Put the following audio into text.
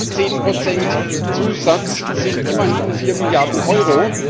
Diese 10 Zusatz sind immerhin vier Milliarden Euro.